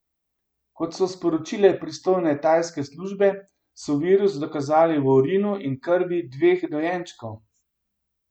Kot so sporočile pristojne tajske službe, so virus dokazali v urinu in krvi dveh dojenčkov.